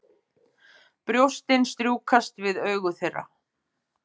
Brjóstin strjúkast við augu þeirra.